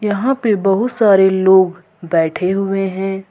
यहां पे बहुत सारे लोग बैठे हुए हैं।